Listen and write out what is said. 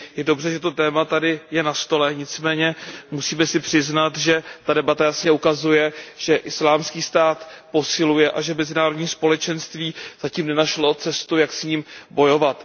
Je dobře, že toto téma je tady na stole, nicméně musíme si přiznat, že tato debata jasně ukazuje, že Islámský stát posiluje a že mezinárodní společenství zatím nenašlo cestu, jak s ním bojovat.